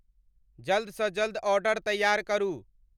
जल्द स जल्द ऑर्डर तैयार करू।